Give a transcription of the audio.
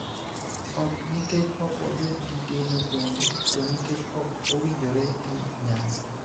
ok nikech ok wabed gi geno kuomgi, to nikech ok owinjore gi nyasi.